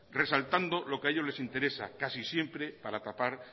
resaltando lo que a ellos les interesa casi siempre para tapar